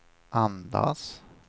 andas